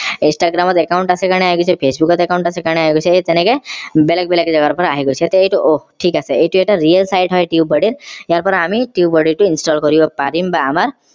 instagram ত account আছে কাৰণে আহি গৈছে facebook ত account আছে কাৰণে আহি গৈছে এই তেনেকে বেলেগ বেলেগ জেগাৰ পৰা আহি গৈছে এইটো অহ ঠিক আছে এইটো এটা real site হয় tubebuddy ত ইয়াৰ পৰা আমি tubebuddy টো install কৰিব পাৰিম বা আমৰ